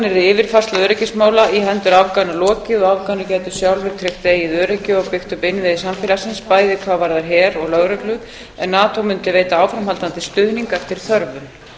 yfirfærslu öryggismála í hendur afgana lokið og afganir gætu sjálfir tryggt eigið öryggi og byggt upp innviði samfélagsins bæði hvað varðar her og lögreglu en nato mundi veita áframhaldandi stuðning eftir þörfum